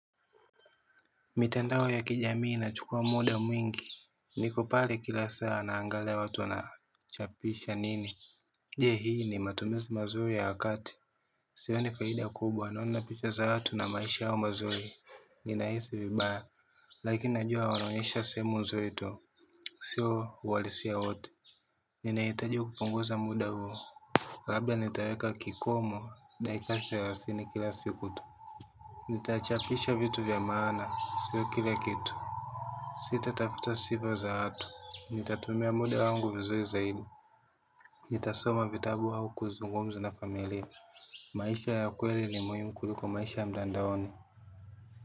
Mitandao ya kijamii ina chukua muda mwingi. Niko pale kila saa naangalia watu wanachapisha nini. Je hii ni matumizi mazuri ya wakati? Sioni faida kubwa naona picha za watu na maisha yao mazuri. Ninahisi vibaya lakini najua wanaonyesha seemu nzuri tu. Sio uwalisi wowote. Ninaitaji kupunguza muda huo. Labda nitaweka kikomo dakika selasini kila siku tu. Nitachapisha vitu vya maana sio kila kitu. Sita tafuta siva za watu. Nitatumia muda wangu vizuri zaidi. Nitasoma vitabu hau kuzungumza na familia. Maisha ya kweli ni muimu kuliko maisha ya mdandaoni.